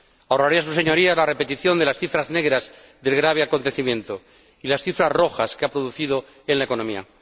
Ahorraré a sus Señorías la repetición de las cifras negras del grave acontecimiento y las cifras rojas que ha producido en la economía.